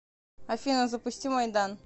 афина запусти майдан